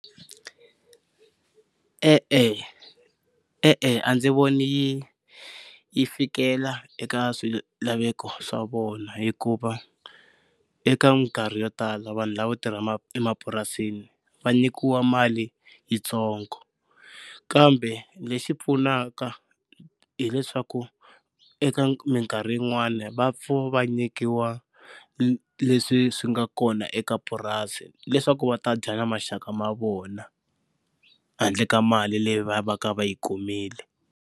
E-e, e-e a ndzi voni yi yi fikelela eka swilaveko swa vona hikuva eka minkarhi yo tala vanhu lavo tirha emapurasini va nyikiwa mali yitsongo, kambe lexi pfunaka hileswaku eka minkarhi yin'wani va va nyikiwa leswi swi nga kona eka purasi leswaku va ta dya na maxaka ma vona handle ka mali leyi va va ka va yi kumile.